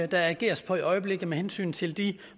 der ageres på i øjeblikket med hensyn til de